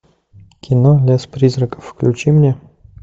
кино лес призраков включи мне